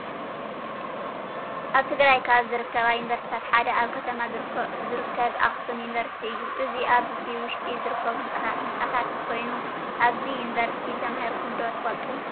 አብ ትግራይ ካብ ዝርከባ ዩኒቨርስትታት ሓደ አብ ከተማ ዝርከብ አክሱም ዩኒቪርስቲ እዩ ። እዚ አብቲ ውሽጢ ዝርከቡ ህንፃታት ኮይኑ አብዚ ዩኒቪርስቲ ተማሂረኩም ዶ ትፈልጡ?